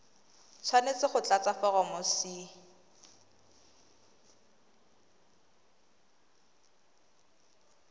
tshwanetse go tlatsa foromo c